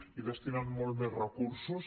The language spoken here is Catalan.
hi destinen molts més recursos